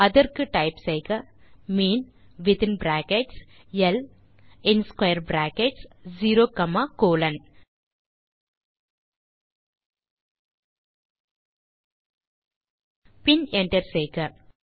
அதற்கு டைப் செய்க mean within brackets ல் மற்றும் in square brackets 0 comma colon பின் என்டர் செய்க